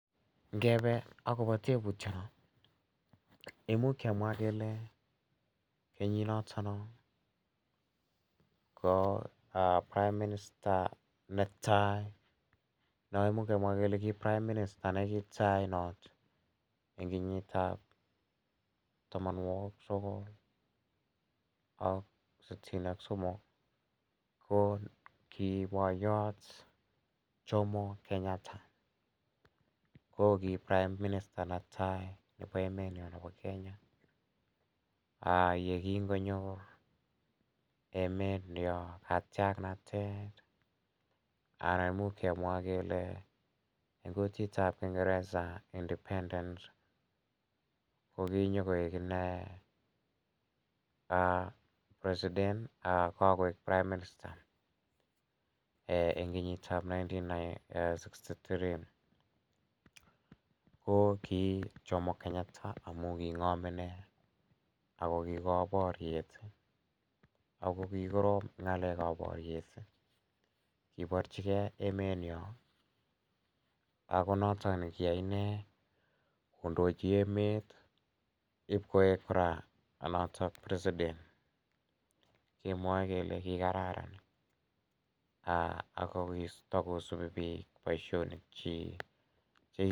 Ngepe akopa teputiano, imuch kemwa kele kenyinotono ko prime minister ne tai ne imuch kemwa kele ki prime minister ne tai not eng' kenyit ap tamanwogik sogol ak sitini ak somok ko ki poyot Jomo Kenyatta, ko ki prime minister ne tai nepo emenyo nepo Kenya. Ye kingonyor emetnyo katiaknatet anan imuch kemwa kele eng' kutit ap kingeresa independence ko ki nyu koik ine president ko kakoek prime minister eng' kenyit ap nineteen sixty three. Ko ki Jomo Kenyatta amu king'am ine ako kipa poryet ako kikorom eng' ng'alek ap poryet. Kiparchigei emenyo ako notok ne kiyai ine kondchi emet ipkoek notok president. Kemwae kele kikararan ako takosupi pik poishonik chik che kiyai.